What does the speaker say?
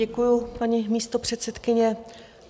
Děkuju, paní místopředsedkyně.